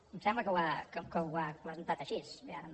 em sembla que ho ha presentat així bé ara no